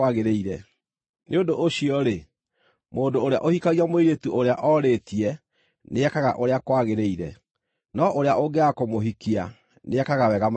Nĩ ũndũ ũcio-rĩ, mũndũ ũrĩa ũhikagia mũirĩtu ũrĩa orĩtie nĩekaga ũrĩa kwagĩrĩire, no ũrĩa ũngĩaga kũmũhikia nĩekaga wega makĩria.